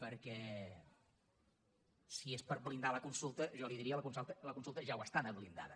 perquè si és per blindar la consulta jo li diria la consulta ja ho està de blindada